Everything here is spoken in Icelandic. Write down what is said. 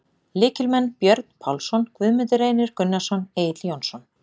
Lykilmenn: Björn Pálsson, Guðmundur Reynir Gunnarsson, Egill Jónsson.